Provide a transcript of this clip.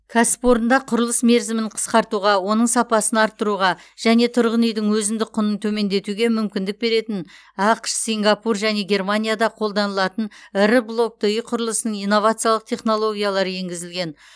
кәсіпорында құрылыс мерзімін қысқартуға оның сапасын арттыруға және тұрғын үйдің өзіндік құнын төмендетуге мүмкіндік беретін ақш сингапур және германияда қолданылатын ірі блокты үй құрылысының инновациялық технологиялары енгізілген